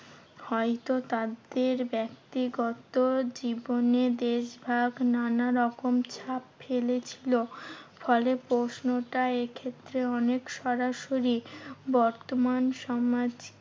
হয়তো তাদের ব্যাক্তিগত জীবনে দেশভাগ নানারকম ছাপ ফেলেছিলো। ফলে প্রশ্নটা এক্ষেত্রে অনেক সরাসরি বর্তমান সমাজ